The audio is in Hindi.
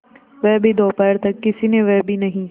वह भी दोपहर तक किसी ने वह भी नहीं